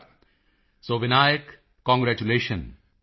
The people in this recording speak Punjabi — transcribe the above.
Modi ji so Vinayak congratulations